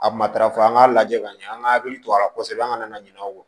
A matarafa an k'a lajɛ ka ɲɛ an ka hakili to a la kosɛbɛ an ka na ɲina aw kɔ